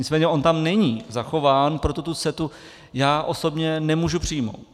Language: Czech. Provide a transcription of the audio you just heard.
Nicméně on tam není zachován, proto tu CETA já osobně nemohu přijmout.